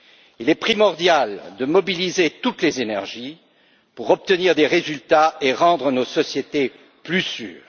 Il est primordial de mobiliser toutes les énergies pour obtenir des résultats et rendre nos sociétés plus sûres.